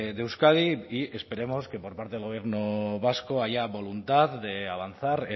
de euskadi y esperemos que por parte del gobierno vasco haya voluntad de avanzar